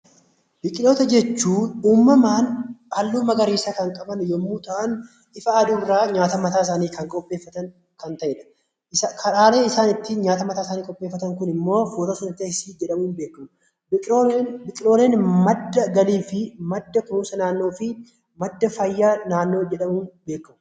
Biqiloota jechuun uumamaan halluu magariisa kan qaban yommuu ta'an, ifa aduurraa nyaata mataa isaanii kan qopheeffatan kan ta'edha. Karaan isaan ittiin nyaata mataa isaanii qopheeffatan Kun immoo footooseenteesisii jedhama. Biqiloonni madda galii fi madda kunuunsa naannoo fi madda fayyaa naannoo jedhamuun beekamu.